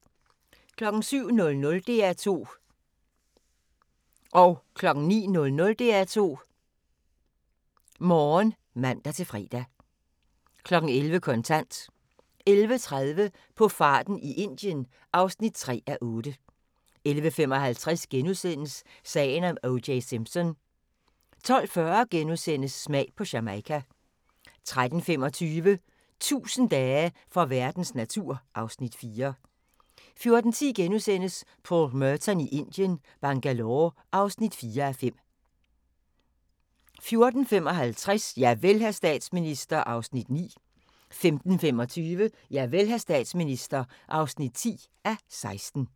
07:00: DR2 Morgen (man-fre) 09:00: DR2 Morgen *(man-fre) 11:00: Kontant 11:30: På farten i Indien (3:8) 11:55: Sagen om O.J. Simpson * 12:40: Smag på Jamaica * 13:25: 1000 dage for verdens natur (Afs. 4) 14:10: Paul Merton i Indien - Bangalore (4:5)* 14:55: Javel, hr. statsminister (9:16) 15:25: Javel, hr. statsminister (10:16)